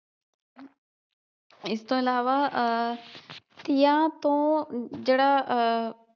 ਇਸ ਤੋਂ ਇਲਾਵਾ ਆਹ ਤੀਆਂ ਤੋਂ ਜਿਹੜਾ ਆਹ